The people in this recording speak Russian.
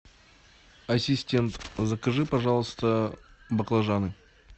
ассистент закажи пожалуйста баклажаны